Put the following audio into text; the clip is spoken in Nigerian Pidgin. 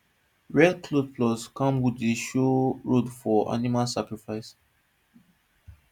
red cloth plus camwood dey show road for animal sacrifice